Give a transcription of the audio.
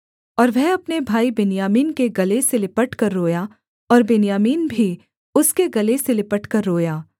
और वह अपने भाई बिन्यामीन के गले से लिपटकर रोया और बिन्यामीन भी उसके गले से लिपटकर रोया